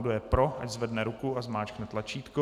Kdo je pro, ať zvedne ruku a zmáčkne tlačítko.